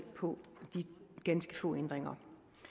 på de ganske få ændringer